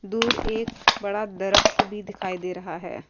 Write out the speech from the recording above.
دور ایک بڑا درخت بھی دکھائی دے رہا ہے۔